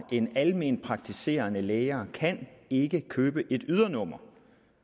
end alment praktiserende læger kan ikke købe et ydernummer